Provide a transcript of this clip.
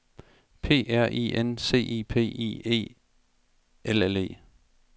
P R I N C I P I E L L E